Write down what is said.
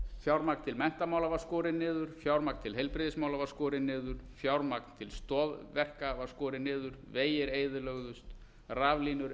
fjármagn til menntamála var skorið niður fjármagn til heilbrigðismála var skorið niður fjármagn til stoðverka var skorið niður vegir eyðilögðust raflínur